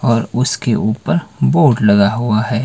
और उसके ऊपर बोर्ड लगा हुआ है।